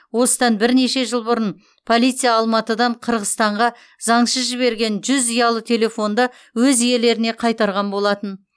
осыдан бірнеше жыл бұрын полиция алматыдан қырғызстанға заңсыз жіберілген жүз ұялы телефонды өз иелеріне қайтарған болатын